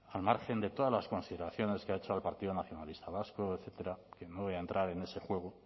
al margen de todas las consideraciones que ha hecho al partido nacionalista vasco etcétera que no voy a entrar en ese juego